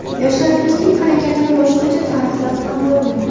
Yoshlarimizning harakatini boshqacha ta’riflab ham bo‘lmaydi.